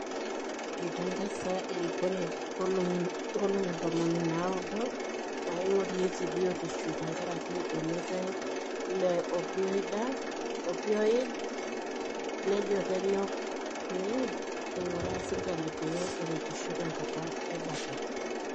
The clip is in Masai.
Eitangaza erikore nkolongi ntomoni naaudo naingorieki biotisho tenkaraki olmeitai le opioid nejo kenyok pee einguraa serkali pee eretisho tenkata ebata.